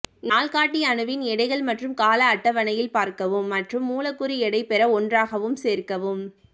நாள்காட்டி அணுவின் எடைகள் மற்றும் கால அட்டவணையில் பார்க்கவும் மற்றும் மூலக்கூறு எடை பெற ஒன்றாகவும் சேர்க்கவும்